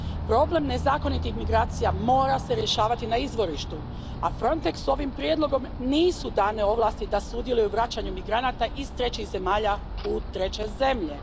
Problem nezakonitih migracija mora se rješavati na izvorištu, a Frontexu ovim prijedlogom nisu dane ovlasti da sudjeluje u vraćanju migranata iz trećih zemalja u treće zemlje.